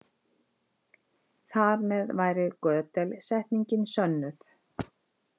Þar með væri Gödel-setningin sönnuð.